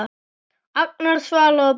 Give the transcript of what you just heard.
Agnar, Svala og börn.